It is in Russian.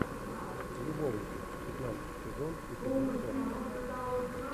любовники пятнадцатый сезон эпизод сорок